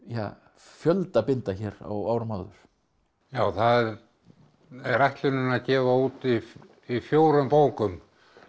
fjölda binda hér á árum áður já það er ætlunin að gefa út í fjórum bókum